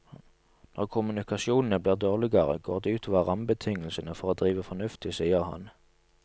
Når kommunikasjonene blir dårligere, går det ut over rammebetingelsene for å drive fornuftig, sier han.